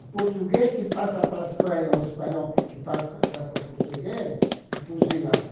O português que passa para a Espanha, ou o espanhol que passa para o português é fuzilado.